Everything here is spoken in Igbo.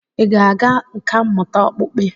Ị ga-aga nkà mmụta okpukpe?